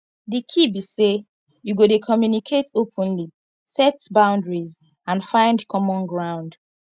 di key be say you go dey communicate openly set boundaries and find common ground